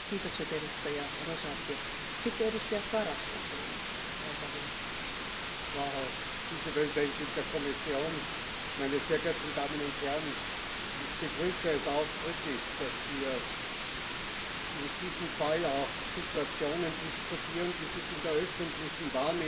Frau Präsidentin, Frau Vizepräsidentin der Kommission, meine sehr geehrten Damen und Herren! Ich begrüße es ausdrücklich, dass wir in diesem Fall auch Situationen diskutieren, die sich in der öffentlichen Wahrnehmung